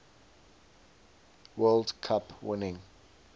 world cup winning